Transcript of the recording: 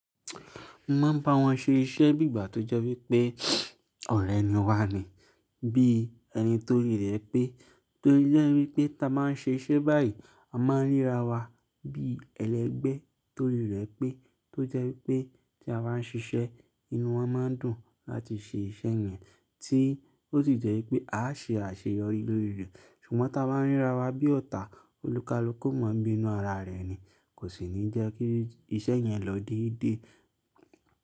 Mo máa ń bá wọn ṣe iṣẹ́ bí ìgbà tó jẹ́ wípé ọ̀rẹ́ ni wá ni bí ẹni tó rí rẹ̀ pé, tó jẹ́ wípé táa máa ń ṣe iṣẹ́ báyìí, a máa ń ríra wa bí ẹlẹgbẹ́ tó rí rẹ̀ pé tó jẹ́ wípé tí a bá ń ṣiṣẹ́, inú wọn máa dùn láti ṣe iṣẹ́ yẹn tí ó sì jẹ́ wípé á ṣe àṣeyọrí lórí rẹ̀. Ṣùgbọ́n táa bá ń ríra wa bí ọ̀tá, olúkalúkú mọ́ bí inú ara rẹ̀ ni kò sì ní jẹ́ kí iṣẹ́ yẹn lọ déédé.